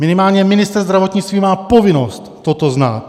Minimálně ministr zdravotnictví má povinnost toto znát.